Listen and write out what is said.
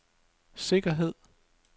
sikkerhed